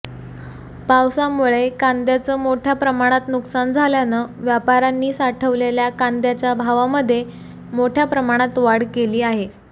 पावसामुळे कांदयाचं मोठ्या प्रमाणात नुकसान झाल्यानं व्यापाऱ्यांनी साठवलेल्या कांद्याच्या भावांमध्ये मोठ्या प्रमाणात वाढ केली आहे